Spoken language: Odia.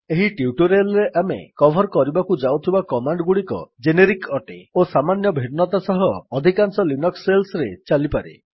ଏହି ଟ୍ୟୁଟୋରିଆଲ୍ ରେ ଆମେ କଭର୍ କରିବାକୁ ଯାଉଥିବା କମାଣ୍ଡ୍ ଗୁଡିକ ଜେନେରିକ୍ ଅଟେ ଓ ସାମାନ୍ୟ ଭିନ୍ନତା ସହ ଅଧିକାଂଶ ଲିନକ୍ସ୍ ଶେଲ୍ସରେ ଚାଲିପାରେ